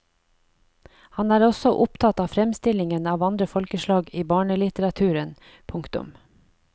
Han er også opptatt av fremstillingen av andre folkeslag i barnelitteraturen. punktum